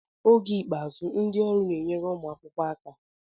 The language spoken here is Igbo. Oge ikpeazụ, ndị ọrụ na-enyere ụmụ akwụkwọ aka.